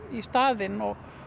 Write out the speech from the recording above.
í staðinn